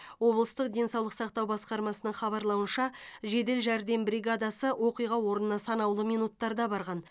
облыстық денсаулық сақтау басқармасының хабарлауынша жедел жәрдем бригадасы оқиға орнына санаулы минуттарда барған